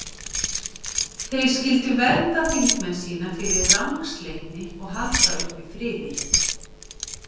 Þeir skyldu vernda þingmenn sína fyrir rangsleitni og halda uppi friði.